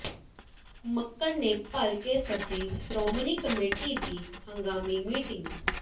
ਮੱਕੜ ਨੇ ਭਲਕੇ ਸੱਦੀ ਸ੍ਰੋਮਣੀ ਕਮੇਟੀ ਦੀ ਹੰਗਾਮੀ ਮੀਟਿੰਗ